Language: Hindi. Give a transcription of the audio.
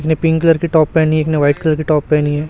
एक ने पिंक कलर की टॉप पहनी है एक ने व्हाइट कलर की टॉप पहनी है।